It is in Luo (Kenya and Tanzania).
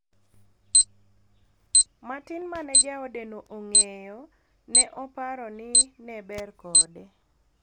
matin mane jaode no ong'eyo, ne oparo ni ne ber kode